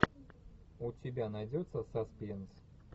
у тебя найдется саспенс